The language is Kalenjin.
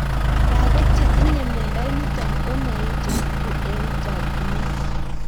Lag'ok che tinye miondo nitok ko maechekitu eng' chakchinet